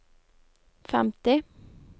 femti